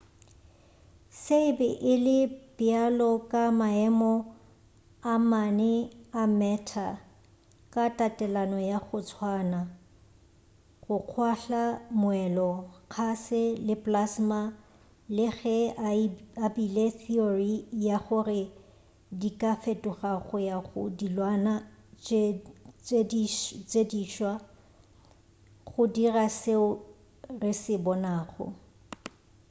se e be e le bjalo ka maemo a mane a matter ka tatelano ya go tswana: go kgwahla moelo kgase le plasma le ge a beile theory ya gore di ka fetoga go ya go dilwana tše diswa go dira seo re se bonago